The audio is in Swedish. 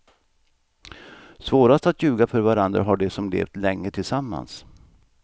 Svårast att ljuga för varandra har de som levt länge tillsammans.